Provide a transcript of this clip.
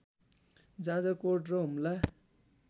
जाजरकोट र हुम्ला